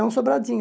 É um sobradinho.